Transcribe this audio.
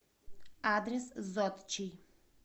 адрес зодчий